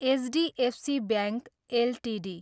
HDFC bank Ltd